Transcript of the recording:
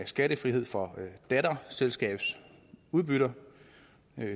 skattefrihed for datterselskabsudbytter